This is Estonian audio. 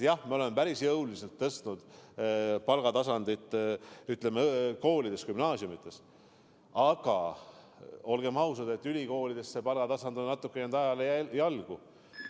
Jah, me oleme päris jõuliselt tõstnud palgataset koolides, sh gümnaasiumides, aga olgem ausad, et ülikoolide palgatase on natuke ajale jalgu jäänud.